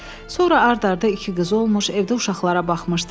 Sonra ard-arda iki qızı olmuş, evdə uşaqlara baxmışdı.